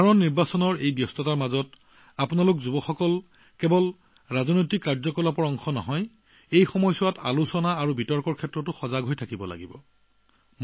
সাধাৰণ নিৰ্বাচনৰ এই জলবায়ুত আপুনি যুৱকযুৱতীসকলে এই ৰাজনৈতিক আন্দোলনসমূহত অংশগ্ৰহণ কৰাই নহয় আলোচনা আৰু বিতৰ্কৰ প্ৰতিও সজাগ হৈ থাকক